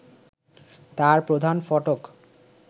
তার প্রধান ফটক